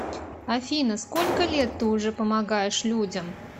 афина сколько лет ты уже помогаешь людям